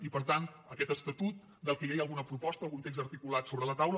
i per tant aquest estatut del qual ja hi ha alguna proposta algun text articulat sobre la taula